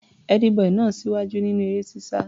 Ẹ́dí-bọì náà ń ṣíwájú nínú eré-sísá.